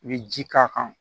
I bɛ ji k'a kan